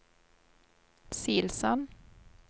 Silsand